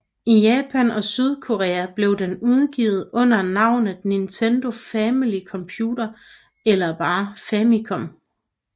I Japan og Sydkorea blev den udgivet under navnet Nintendo Family Computer eller bare Famicom